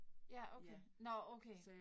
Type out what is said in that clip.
ja, okay. Nåh okay